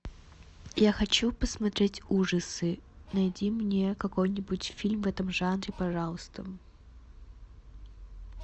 я хочу посмотреть ужасы найди мне какой нибудь фильм в этом жанре пожалуйста